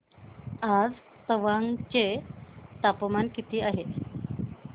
आज तवांग चे तापमान किती आहे